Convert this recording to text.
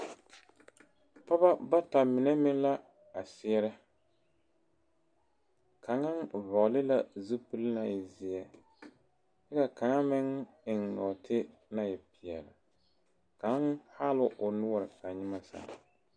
Pɔgeba bata mine meŋ la a seɛrɛ kaŋa vɔgle la zupili naŋ e zeɛ kyɛ ka kaŋa meŋ eŋ nɔɔte naŋ e peɛle kaŋ haa la o noɔre ka nyemɛ sãã.